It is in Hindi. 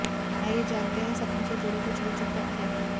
आइये जानते हैं सपनों से जुड़े कुछ रोचक तथ्य